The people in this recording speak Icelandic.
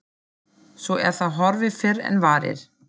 Svo er það horfið fyrr en varir.